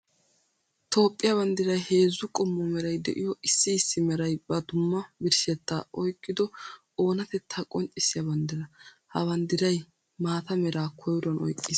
Toophphiya banddiray heezzu qommo meray de'iyo issi issi meray ba dumma birshshetta oyqqiddo oonatetta qonccissiya banddira. Ha banddiray maata mera koyruwan oyqqis.